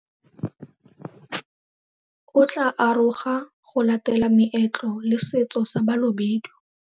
O tla aroga go latela meetlo le setso sa Balobedu.